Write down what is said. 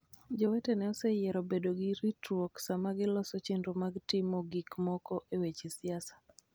jowetene oseyiero bedo gi ritruok sama giloso chenro mar timo gik moko e weche siasa.